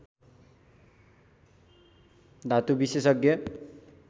धातु विशेषज्ञ